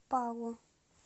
палу